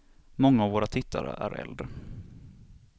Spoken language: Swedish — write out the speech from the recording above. Många av våra tittare är äldre.